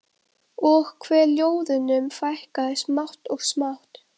Og hve ljóðunum fækkaði smátt og smátt.